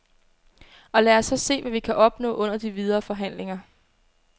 Og lad os så se, hvad vi kan opnå under de videre forhandlinger.